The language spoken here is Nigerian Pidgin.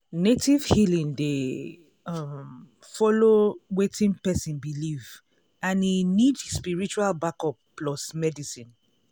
native healing dey um follow wetin person believe and e need spiritual backup plus medicine.